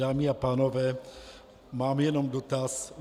Dámy a pánové, mám jenom dotaz.